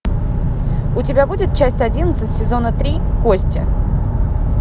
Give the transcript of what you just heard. у тебя будет часть одиннадцать сезона три кости